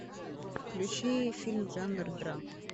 включи фильм жанр драма